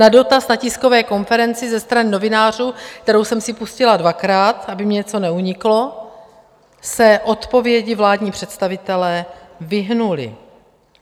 Na dotaz na tiskové konferenci ze strany novinářů, kterou jsem si pustila dvakrát, aby mi něco neuniklo, se odpovědi vládní představitelé vyhnuli.